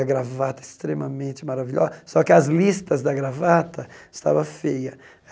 A gravata, extremamente maravilho, só que as listas da gravata estava feia.